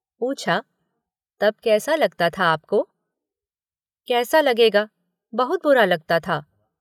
पूछा, तब कैसा लगता था आपको। कैसा लगेगा, बहुत बुरा लगता था।